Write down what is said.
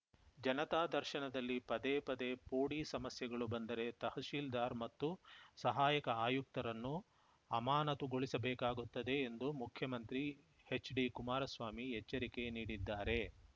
ಜನತಾ ದರ್ಶನದಲ್ಲಿ ಪದೇ ಪದೇ ಪೋಡಿ ಸಮಸ್ಯೆಗಳು ಬಂದರೆ ತಹಸೀಲ್ದಾರ್‌ ಮತ್ತು ಸಹಾಯಕ ಆಯುಕ್ತರನ್ನು ಅಮಾನತುಗೊಳಿಸಬೇಕಾಗುತ್ತದೆ ಎಂದು ಮುಖ್ಯಮಂತ್ರಿ ಎಚ್‌ಡಿಕುಮಾರಸ್ವಾಮಿ ಎಚ್ಚರಿಕೆ ನೀಡಿದ್ದಾರೆ